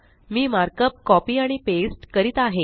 मी markup copy आणि paste करीत आहे